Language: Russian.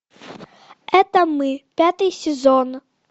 это мы пятый сезон